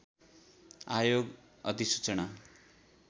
आयोग अधिसूचना